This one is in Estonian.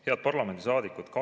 Head parlamendisaadikud!